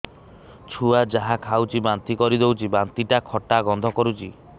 ଛୁଆ ଯାହା ଖାଉଛି ବାନ୍ତି କରିଦଉଛି ବାନ୍ତି ଟା ଖଟା ଗନ୍ଧ କରୁଛି